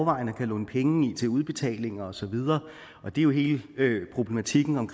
og kan låne penge i til udbetaling og så videre og det er jo hele problematikken om